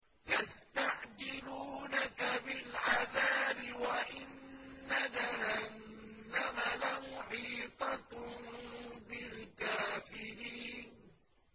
يَسْتَعْجِلُونَكَ بِالْعَذَابِ وَإِنَّ جَهَنَّمَ لَمُحِيطَةٌ بِالْكَافِرِينَ